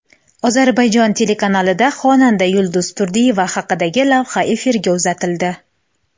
Ozarbayjon telekanalida xonanda Yulduz Turdiyeva haqidagi lavha efirga uzatildi.